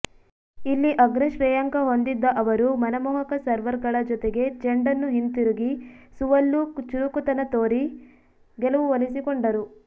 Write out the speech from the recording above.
ಇಲ್ಲಿ ಅಗ್ರಶ್ರೇಯಾಂಕ ಹೊಂದಿದ್ದ ಅವರು ಮನಮೋಹಕ ಸರ್ವ್ಗಳ ಜೊತೆಗೆ ಚೆಂಡನ್ನು ಹಿಂತಿರುಗಿ ಸುವಲ್ಲೂ ಚುರುಕುತನ ತೋರಿ ಗೆಲುವು ಒಲಿಸಿಕೊಂಡರು